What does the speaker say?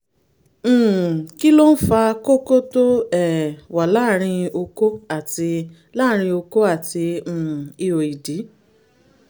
um kí ló ń fa kókó tó um wà láàárín okó àti láàárín okó àti um ihò ìdí?